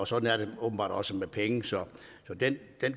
sådan er det åbenbart også med penge så den